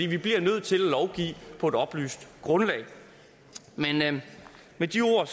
vi bliver nødt til at lovgive på et oplyst grundlag med de ord